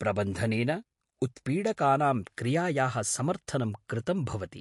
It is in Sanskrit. प्रबन्धनेन उत्पीडकानां क्रियायाः समर्थनं कृतं भवति।